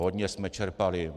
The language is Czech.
Hodně jsme čerpali.